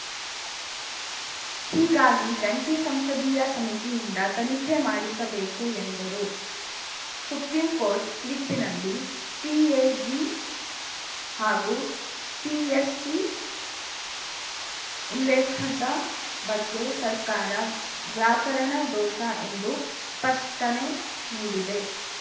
ಹೀಗಾಗಿ ಜಂಟಿ ಸಂಸದೀಯ ಸಮಿತಿಯಿಂದ ತನಿಖೆ ಮಾಡಿಸಬೇಕು ಎಂದರು ಸುಪ್ರೀಂಕೋರ್ಟ್‌ ತೀರ್ಪಿನಲ್ಲಿ ಸಿಎಜಿ ಹಾಗೂ ಪಿಎಸ್ಸಿ ಉಲ್ಲೇಖದ ಬಗ್ಗೆ ಸರ್ಕಾರ ವ್ಯಾಕರಣ ದೋಷ ಎಂದು ಸ್ಪಷ್ಟನೆ ನೀಡಿದೆ